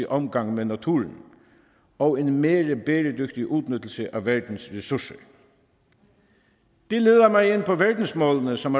omgang med naturen og en mere bæredygtig udnyttelse af verdens ressourcer det leder mig ind på verdensmålene som